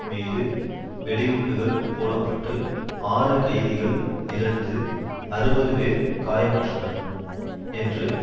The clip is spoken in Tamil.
மீது வெடிகுண்டுகள் போட பட்டு ஆறு கைதிகள் இறந்து அறுபது பேர் காயமுற்றனர் என்று